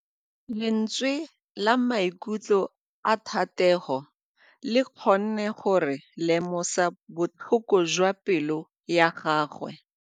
Lentswe la maikutlo a Thategô le kgonne gore re lemosa botlhoko jwa pelô ya gagwe.